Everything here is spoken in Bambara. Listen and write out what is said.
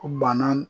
Bana